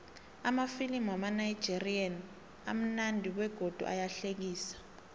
amafilimu wamanigerian amunandi begodu ayahlekisa